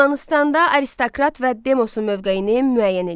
Yunanıstanda aristokrat və demosun mövqeyini müəyyən eləyin.